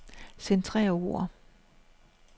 Centrer ord.